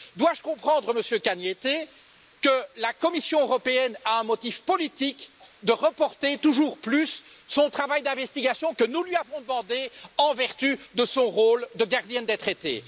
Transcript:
Dois je comprendre, Monsieur Cañete, que la Commission européenne a un motif politique de reporter toujours plus le travail d'investigation que nous lui avons demandé en vertu de son rôle de gardienne des traités?